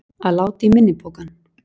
Að láta í minni pokann